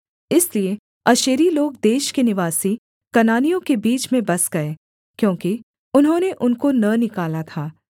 इसलिए आशेरी लोग देश के निवासी कनानियों के बीच में बस गए क्योंकि उन्होंने उनको न निकाला था